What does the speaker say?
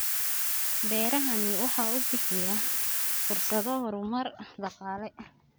Beerahani waxa uu bixiyaa fursado horumar dhaqaale.